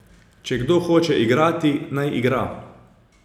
Če kdo hoče igrati, naj igra.